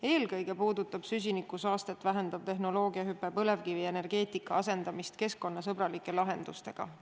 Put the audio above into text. Eelkõige puudutab süsinikusaastet vähendav tehnoloogiahüpe põlevkivienergeetika asendamist keskkonnasõbralike lahendustega.